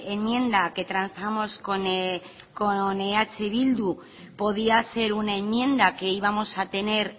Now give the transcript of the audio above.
enmienda que transamos con eh bildu podía ser una enmienda que íbamos a tener